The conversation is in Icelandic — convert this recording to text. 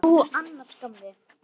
Hvernig hefurðu það annars, gamli?